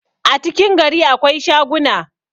a cikin gari akwai shaguna